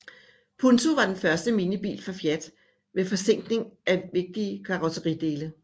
Punto var den første minibil fra Fiat med forzinkning af vigtige karrosseridele